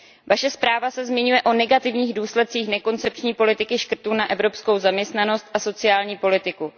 Vaše zpráva se zmiňuje o negativních důsledcích nekoncepční politiky škrtů na evropskou zaměstnanost a sociální politiku.